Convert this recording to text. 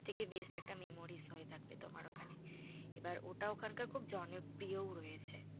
থেকে best একটা memories হয়ে থাকবে তোমার ওখানে। এবার ওটা ওখানকার খুব জনপ্রিয়ও রয়েছে।